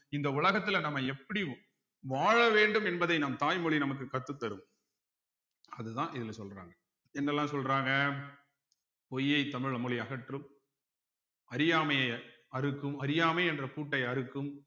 இந்த உலகத்துல நம்ம எப்படி வாழ வேண்டும் என்பதை நம் தாய்மொழி நமக்கு கற்றுத்தரும் அதுதான் இதுல சொல்றாங்க என்னெல்லாம் சொல்றாங்க பொய்யை தமிழ் மொழி அகற்றும் அறியாமையை அறுக்கும் அறியாமை என்ற பூட்டை அறுக்கும்